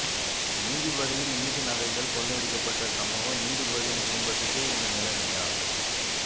நீதிபதியின் விட்டு நகைகள் கொள்ளையடிக்கப்பட்ட சம்பவம் நீதிபதியின் குடும்பத்துக்கே இந்த நிலைமையா